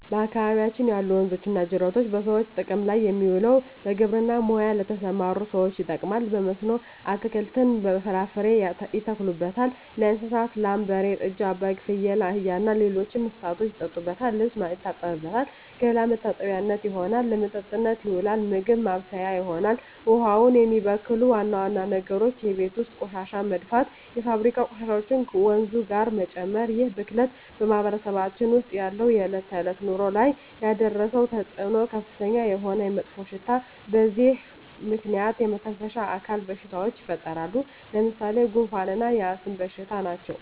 በአካባቢያችን ያሉ ወንዞች ወይም ጅረቶች በሰዎች ጥቅም ላይ የሚውለው በግብርና ሙያ ለተሠማሩ ሠዎች ይጠቅማል። በመስኖ አትክልትን፣ ፍራፍሬ ያተክሉበታል። ለእንስሳት ላም፣ በሬ፣ ጥጃ፣ በግ፣ ፍየል፣ አህያ እና ሌሎች እንስሶችን ያጠጡበታል፣ ልብስ ይታጠብበታል፣ ገላ መታጠቢያነት ይሆናል። ለመጠጥነት ይውላል፣ ምግብ ማብሠያ ይሆናል። ውሃውን የሚበክሉ ዋና ዋና ነገሮች የቤት ውስጥ ቆሻሻ መድፋት፣ የፋብሪካ ቆሻሾችን ወንዙ ጋር መጨመር ይህ ብክለት በማህበረሰባችን ውስጥ ባለው የዕለት ተዕለት ኑሮ ላይ ያደረሰው ተፅዕኖ ከፍተኛ የሆነ መጥፎሽታ በዚህ ምክንያት የመተነፈሻ አካል በሽታዎች ይፈጠራሉ። ለምሣሌ፦ ጉንፋ እና የአስም በሽታ ናቸው።